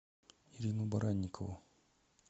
ирину баранникову